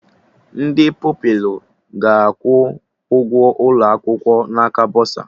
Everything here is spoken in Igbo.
Ndị Pupilụ ga-akwụ ụgwọ ụlọ akwụkwọ n'aka bọsa